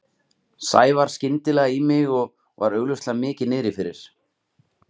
Sævar skyndilega í mig og var augljóslega mikið niðri fyrir.